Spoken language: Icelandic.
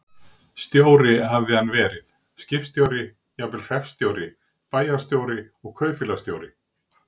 Stjóri hafði hann verið, skipstjóri, jafnvel hreppstjóri, bæjarstjóri og kaupfélagsstjóri.